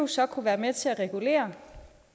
så kunne være med til at regulere